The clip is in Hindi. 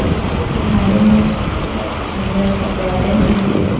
उसके किनारे में छोटा सा सुंदर सा गार्डन जैसे है।